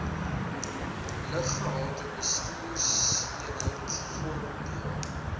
luggehaltebestuurseenheid vorm deel